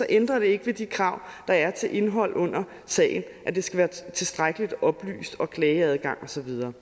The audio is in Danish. ændrer det ikke ved de krav der er til indhold under sagen at det skal være tilstrækkelig oplyst klageadgang og så videre